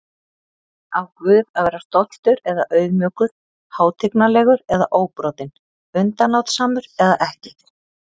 Á Guð að vera stoltur eða auðmjúkur, hátignarlegur eða óbrotinn, undanlátssamur eða ekki?